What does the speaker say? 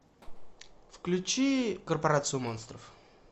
включи корпорацию монстров